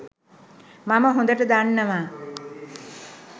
මම හොඳට දන්නවා